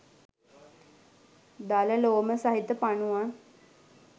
දල ලෝම සහිත පනුවන්